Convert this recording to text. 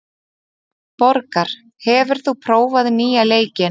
Borgar, hefur þú prófað nýja leikinn?